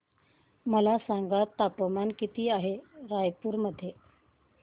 मला सांगा तापमान किती आहे रायपूर मध्ये